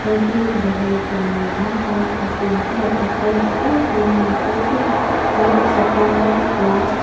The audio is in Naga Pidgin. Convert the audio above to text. wedding kuribole banai laga house nishina ase yatey hall dangor banai na ase pura white khapra white pra.